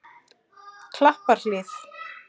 Klapparhlíð